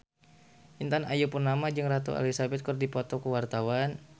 Intan Ayu Purnama jeung Ratu Elizabeth keur dipoto ku wartawan